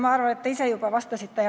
Ma arvan, et te ise juba vastasite.